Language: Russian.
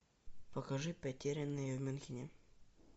покажи потерянные в мюнхене